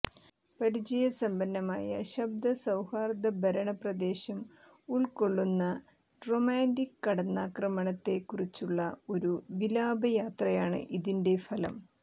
പരിചയസമ്പന്നമായ ശബ്ദ സൌഹാർദ്ദഭരണ പ്രദേശം ഉൾക്കൊള്ളുന്ന റൊമാന്റിക് കടന്നാക്രമണത്തെ കുറിച്ചുള്ള ഒരു വിലാപയാത്രയാണ് ഇതിന്റെ ഫലം